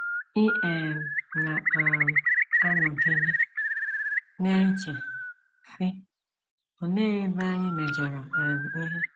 Ị um na um - anọgide na - eche, sị, ‘ Olee ebe anyị mejọrọ um ihe?